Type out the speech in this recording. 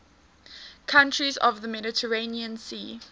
countries of the mediterranean sea